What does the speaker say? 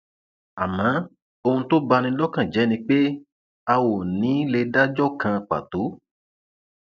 àmọ ohun tó bá ní lọkàn jẹ ni pé a ò ní í lè dájọ kan pàtó